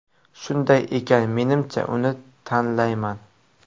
Shunday ekan, menimcha, uni tanlayman”.